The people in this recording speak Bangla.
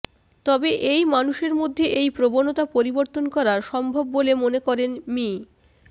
তবে এই মানুষের মধ্যে এই প্রবণতা পরিবর্তন করা সম্ভব বলে মনে করেন মি